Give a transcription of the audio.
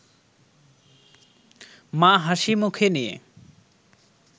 মা হাসি মুখে নিয়ে